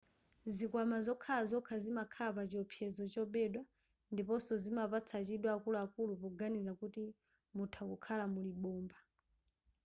zikwama zokhala zokha zimakhala pa chiopsezo chobedwa ndiponso zimapatsa chidwi akuluakulu poganiza kuti mutha kukhala muli bomba